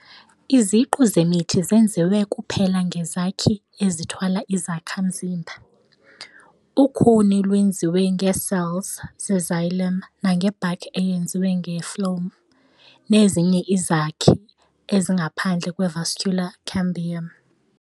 Iziqu zemithi zenziwe kuphela ngeezakhi ezithwala izakha mzimba. Ukhuni lwenziwe ngee"cells" ze"xylem", nange-bark eyenziwe nge-"phloem" nezinye izakhi ezingaphandle kwe-vascular cambium.